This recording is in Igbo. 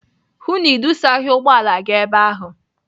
Hụụ na Ị dụsaghị ụgbọala gị ebe ahụ!